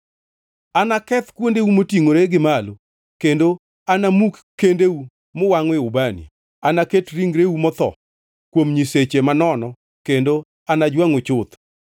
Anaketh kuondeu motingʼore gi malo, kendo anamuki kendeu muwangʼoe ubani. Anaket ringreu motho kuom nyiseche manono kendo anajwangʼu chuth.